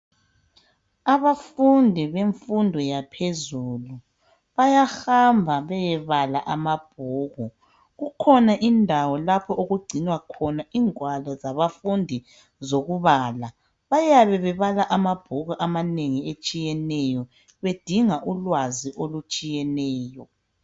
Abafundi bemfundo yaphezulu bayahamba beyebala amabhuku. Kukhona indawo lapho okugcinwa khona ingwalo zabafundi zokubala. Bayabe bebala amabhuku amanengi atshiyeneyo bedinga ulwazi olutshiyeneyo.